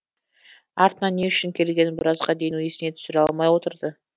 артынан не үшін келгенін біразға дейін есіне түсіре алмай отырды